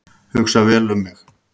Hugsa vel um mig